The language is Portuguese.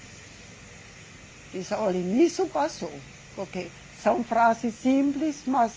Dizia, olhe, nisso passou, porque são frases simples, mas...